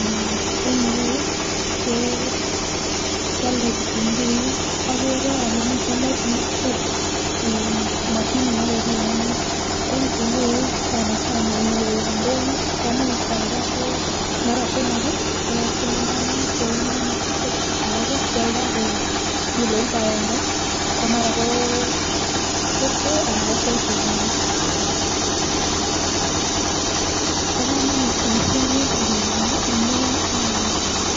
Mmh en irou Kee kiodoi kitumguik okere ole miten ne mashinit nekipimonen ko kitumguik sanasana niwe ndonyo komuch kioldo ko mara somok kii ko siling taman kou nono ko alak kiodoi ko kiloit agenge komara ko fifty anan ko fourty yono. Bo komonut boishoni en sobenyon nii amun